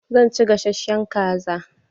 Zan ci gasashen kaza.